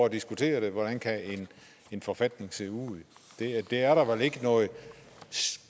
at diskutere hvordan en forfatning kan se ud det er der vel ikke noget